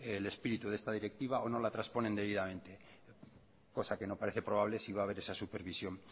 el espíritu de esta directiva o no la transponen debidamente cosa que no parece probable si va haber esa supervisión